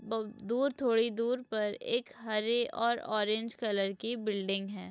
बहुत दूर थोड़ी दूर पर एक हरे और ऑरेंज कलर की बिल्डिंग है।